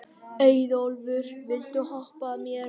Auðólfur, viltu hoppa með mér?